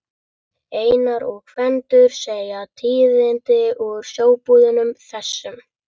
Einar og Gvendur segja tíðindi úr sjóbúðunum, þessum